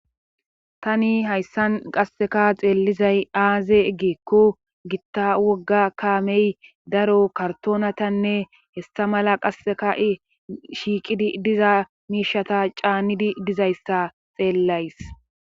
Tani hayssan qasseka xeellizay aaze eggeekko gitta wogga kaamey daro kartoonatanne hestha mala qasseka shiiqidi diza miishata caanidi dizayssa xeellays.